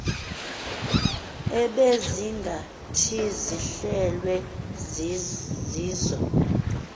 ebezingathi zihlelwe zizo